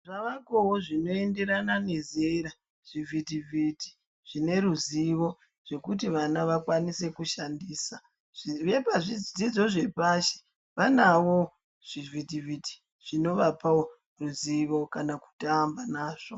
Zvavekoo zvinoenderana nezera zvivhit vhiti zvine ruzivo zvekuti vana vakwanise kushandisa zvirepa zvidzidzo zvepashi vanawo zvivhiti vhiti zvinovapa woruzivo kana kutamba nazvo